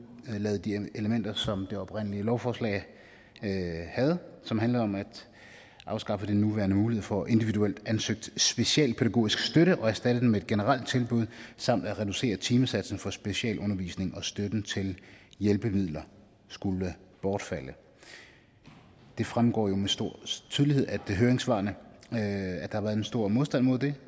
udelade de elementer som det oprindelige lovforslag havde og som handlede om at afskaffe den nuværende mulighed for individuelt ansøgt specialpædagogisk støtte og erstatte den med et generelt tilbud samt at reducere timesatsen for specialundervisning og støtten til hjælpemidler skulle bortfalde det fremgår jo med stor tydelighed af høringssvarene at har været en stor modstand mod det